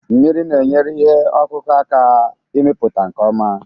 Mmiri na-enyere ihe ọkụkụ aka ịmịpụta nke ọma